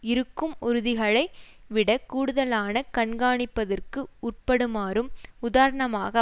இருக்கும் உறுதிகளை விடக் கூடுதலான கண்காணிப்பதற்கு உட்படுமாறும் உதாரணமாக